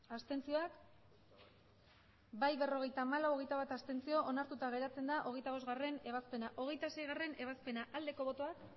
abstenzioak emandako botoak hirurogeita hamabost bai berrogeita hamalau abstentzioak hogeita bat onartuta geratzen da hogeita bostgarrena ebazpena hogeita seigarrena ebazpena aldeko botoak